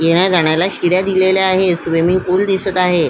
येण्या जाण्याला शिड्या दिलेल्या आहे स्विमिंग पुल दिसत आहे.